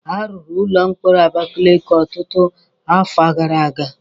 A rụrụ ụlọ mkpọrọ Abakeleke ọtụtụ afọ gara aga.